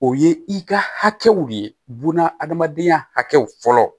O ye i ka hakɛw de ye buna hadamadenya hakɛw fɔlɔ